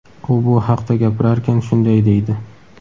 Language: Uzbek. U bu haqda gapirarkan, shunday deydi:.